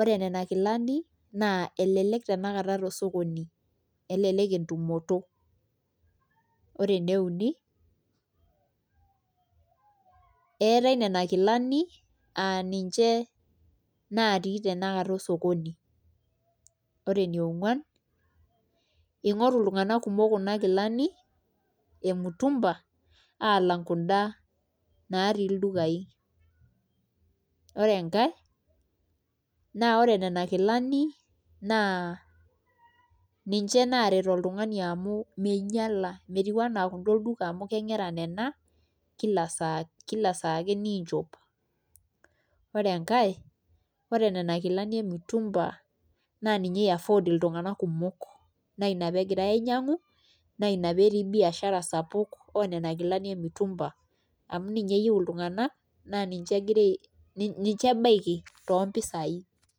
ore nena kilani naa elelek tanakata tosokoni, elelek entumoto ore ene uni eetai nena kilani aa ninche naatii tanakata osokoni ore eniongwan ingoru iltunganak kumok kuna kilani emutumba alang' kunda naatii ildukaai ore enkae naa ore nena kilani naa ninche naaret iltunganak amu minyiala metiu enaa nena olduka amu keng'era nena kila saa ake niinchop, ore enkae ore nena kilani emutumba naa ninche iaffordi iltunganak kumok naa ina pee egirai ainyiang'u naa ina peetii biashara sapuk oonena kilani emutumba amu ninye eyieu iltunganak naa ninche ebaiki toompisaai.